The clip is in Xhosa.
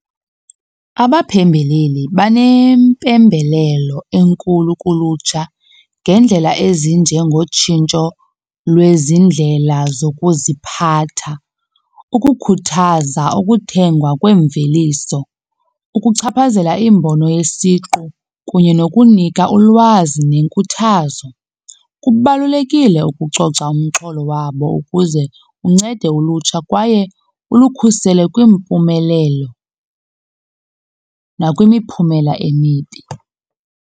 Abaphembeleli banempembelelo enkulu kulutsha ngendlela ezinjengotshintsho lwezi ndlela zokuziphatha, ukukhuthaza ukuthengwa kwemveliso, ukuchaphazela iimbono yesiqu kunye nokunika ulwazi nenkuthazo. Kubalulekile ukucoca umxholo wabo ukuze uncede ulutsha kwaye ulukhusele kwiimpumelelo nakwimiphumela emibi.